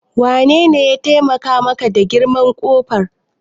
Wanene ya taimaka maka da girman ƙofar?